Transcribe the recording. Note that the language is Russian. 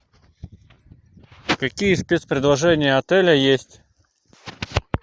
какие спецпредложения отеля есть